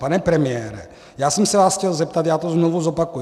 Pane premiére, já jsem se vás chtěl zeptat, já to znovu zopakuji.